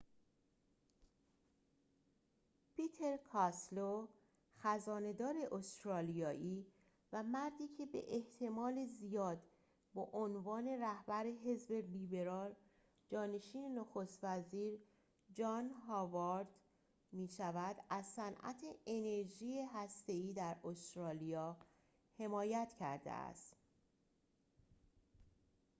پیتر کاستلو خزانه دار استرالیایی و مردی که به احتمال زیاد به عنوان رهبر حزب لیبرال جانشین نخست وزیر جان هاوارد می‌شود از صنعت انرژی هسته ای در استرالیا حمایت کرده است